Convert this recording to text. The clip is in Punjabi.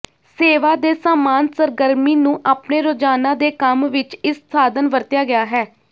ਸੇਵਾ ਦੇ ਸਾਮਾਨ ਸਰਗਰਮੀ ਨੂੰ ਆਪਣੇ ਰੋਜ਼ਾਨਾ ਦੇ ਕੰਮ ਵਿਚ ਇਸ ਸਾਧਨ ਵਰਤਿਆ ਗਿਆ ਹੈ